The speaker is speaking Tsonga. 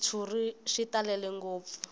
xitshuriwa xi talele ngopfu